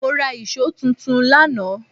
Mó rá íṣo tuntun lánàá